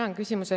Aitäh!